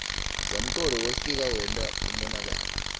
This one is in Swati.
zamcolo wefika wenta umonakalo